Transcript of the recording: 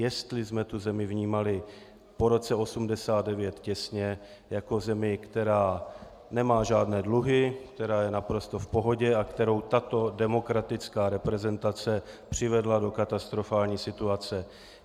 Jestli jsme tu zemi vnímali po roce 1989 těsně jako zemi, která nemá žádné dluhy, která je naprosto v pohodě a kterou tato demokratická reprezentace přivedla do katastrofální situace.